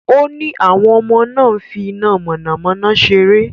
Ó ní àwọn ọmọ náà ń fi iná mọ̀nàmọ́ná ṣeré.